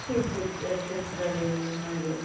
ಇರ್ತಿತ್ತು trip ಗಳು ಹಾಗೆ.